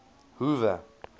hoover